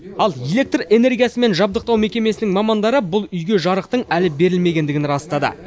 ал электр энергиясымен жабдықтау мекемесінің мамандары бұл үйге жарықтың әлі берілмегендігін растады